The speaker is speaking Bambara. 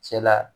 Cɛla